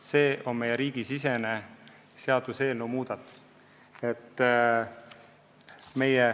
See on riigisisene muudatus.